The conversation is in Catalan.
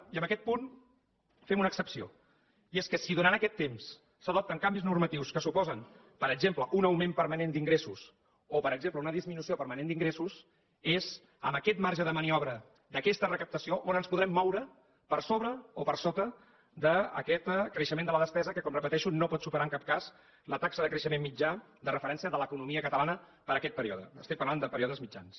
i en aquest punt fem una excepció i és que si durant aquest temps s’adopten canvis normatius que suposen per exemple un augment permanent d’ingressos o per exemple una disminució permanent d’ingressos és amb aquest marge de maniobra d’aquesta recaptació on ens podrem moure per sobre o per sota d’aquest creixement de la despesa que com repeteixo no pot superar en cap cas la taxa de creixement mitjà de referència de l’economia catalana per a aquest període estic parlant de períodes mitjans